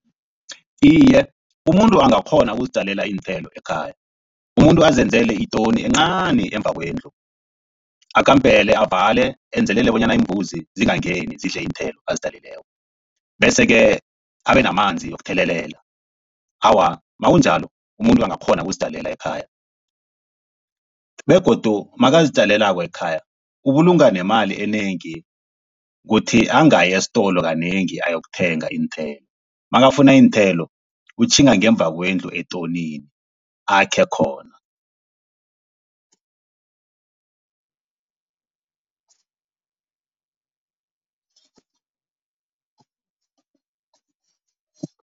Iye, umuntu angakghona ukuzitjalela iinthelo ekhaya, umuntu azenzele itoni encani emva kwendlu, akampele avale enzelele bonyana iimbuzi zingangeni zidle iinthelo azitjalileko. Bese-ke abe namanzi wokuthelelela awa, nakunjalo umuntu angakghona ukuzitjalela ekhaya. Begodu nakazitjalelako ekhaya ubulunga nemali enengi, kuthi angayi estolo kanengi ayokuthenga iinthelo nakafuna iinthelo utjhinga ngemva kwendlu etonini akhe khona.